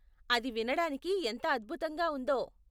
అది వినడానికి ఎంత అద్భుతంగా ఉందో.